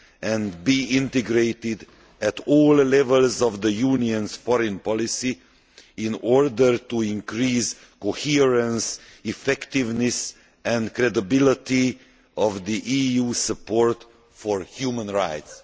and integrated at all levels of the Union's foreign policy, in order to increase the coherence, effectiveness and credibility of the EU's support for human rights.